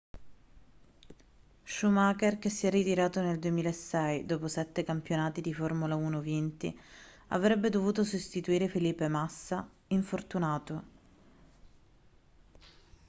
schumacher che si è ritirato nel 2006 dopo sette campionati di formula 1 vinti avrebbe dovuto sostituire felipe massa infortunato